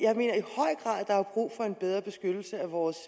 der er brug for en bedre beskyttelse af vores